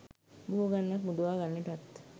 බොහෝ ගණනක් මුදවා ගන්නටත්